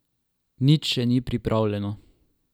Nič še ni pripravljeno.